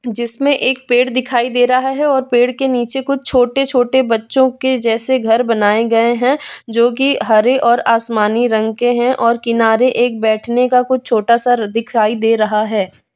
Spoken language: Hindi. जिसमें एक पेड़ दिखाई दे रहा है और पेड़ के नीचे कुछ छोटे छोटे बच्चों के जैसे घर बनाए गए हैं जो कि हरे और आसमानी रंग के हैं और किनारे एक बैठने का कुछ छोटा सा र दिखाई दे रहा है।